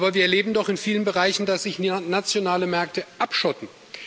Aber wir erleben doch in vielen Bereichen, dass sich nationale Märkte abschotten.